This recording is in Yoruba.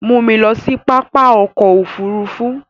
Mú mi lọ sí pápá ọkọ̀ òfurufú!